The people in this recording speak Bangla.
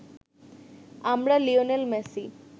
আমরা লিওনেল মেসি